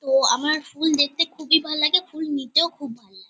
তো আমার ফুল দেখতে খুবই ভাল্লাগে। ফুল নিতেও খুব ভাল্লাগে ।